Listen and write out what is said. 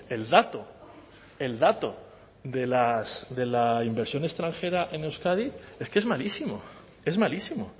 el dato el dato de la inversión extranjera en euskadi es que es malísimo es malísimo